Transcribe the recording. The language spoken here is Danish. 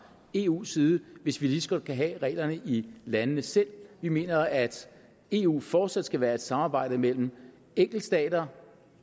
eus side hvis vi lige så godt kan have reglerne i landene selv vi mener at eu fortsat skal være et samarbejde mellem enkeltstater